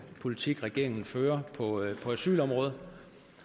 politik regeringen fører på asylområdet